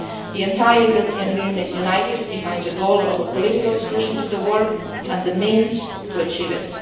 The entire European Union is united behind the goal of a political solution to the war and the means to achieve